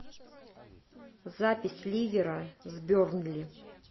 запись ливера с бернли